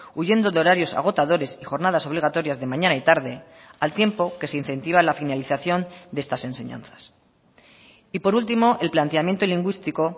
huyendo de horarios agotadores y jornadas obligatorias de mañana y tarde al tiempo que se incentiva la finalización de estas enseñanzas y por último el planteamiento lingüístico